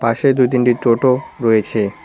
পাশে দুই তিনটি টোটো রয়েছে।